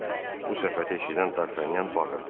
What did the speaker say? Bu söhbəti eşidən Dartanyan bağırdı.